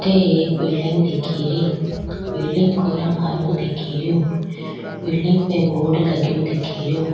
अठे एक बिल्डिंग दिखीरी बिल्डिंग को रंग हरो दिखीरयो बिल्डिंग पे बोर्ड लग्यो दिखे रियो।